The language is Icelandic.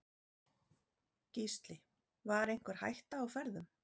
Gísli: Var einhver hætta á ferðum?